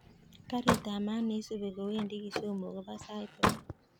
Karit ab maat neisubi kowendi kisumu kobo sait ata